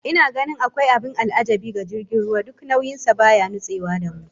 Ina ganin akwai abin al'ajabi ga jirgin ruwa, duk nauyin sa baya nutsewa da mu